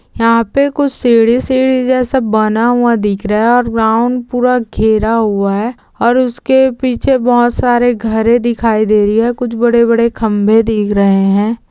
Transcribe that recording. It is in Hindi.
यह पे कुछ सीडी सीडी जैसा बना हुआ दिख रा है ओर ग्राउन्ड पूरा घेरा हुआ है ओर उसके पीछे बहोत सारे घरे दिखाई दे री है कुछ बड़े बड़े खंबे दीख रहे है।